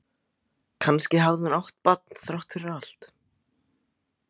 Kannski hafði hún átt barn þrátt fyrir allt.